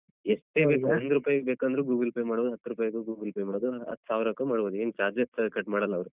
ಎಷ್ಟೇ ಬೇಕ್ ಒಂದ್ ರೂಪೈ ಬೇಕಂದ್ರು Google Pay ಮಾಡ್ಬೋದು ಹತ್ತು ರೂಪೈಗು Google Pay ಮಾಡ್ಬೋದು ಹತ್ಸಾವ್ರಕ್ಕೂ ಮಾಡ್ಬೋದು ಏನ್ charges cut ಮಾಡಲ್ಲ ಅವ್ರು.